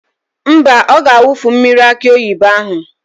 Mba, ọ ga-awufu mmiri akị oyibo ahụ.